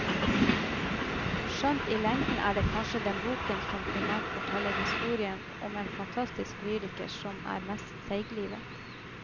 Skjønt, i lengden er det kanskje den boken som primært forteller historien om en fantastisk lyriker som er mest seiglivet.